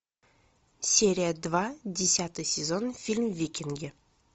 серия два десятый сезон фильм викинги